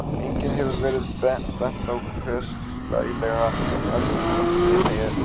Einnig hefur verið bent á hve slælega Argentínski herinn undirbjó varnir eyjanna.